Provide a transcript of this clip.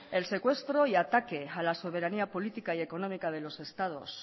el secuestro y ataque a la soberanía política y económica de los estados